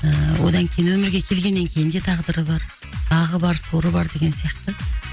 ыыы одан кейін өмірге келгеннен кейін де тағдыры бар бағы бар соры бар деген сияқты